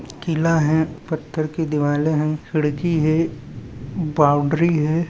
किला है । पठार कि दीवार है। खिड़की है। बाउन्ड्री है।